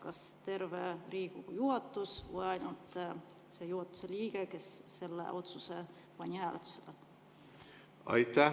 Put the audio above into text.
Kas terve Riigikogu juhatus või ainult see juhatuse liige, kes selle otsuse pani hääletusele?